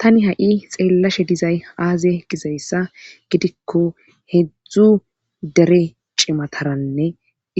tani ha7i xeellashe dizay aaze gizayssa gidikko hedzdzu dere cimataranne